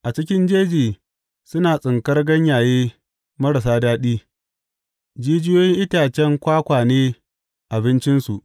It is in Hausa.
A cikin jeji suna tsinkar ganyaye marasa daɗi, jijiyoyin itacen kwakwa ne abincinsu.